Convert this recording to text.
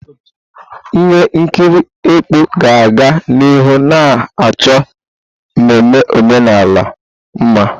Ihe nkiri ekpó ga-aga n'ihu na achọ mmemme omenala mma.